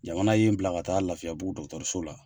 Jamana ye n bila ka taa Lafiyabugu dɔgɔtɔrɔso la.